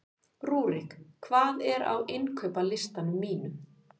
Rúrik, hvað er á innkaupalistanum mínum?